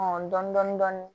dɔni dɔni dɔni